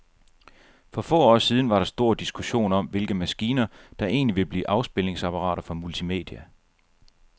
For få år siden var der stor diskussion om, hvilke maskiner, der egentlig ville blive afspilningsapparater for multimedia.